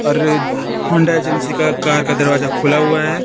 अर Honda agency का car का दरवाजा खुला हुआ है।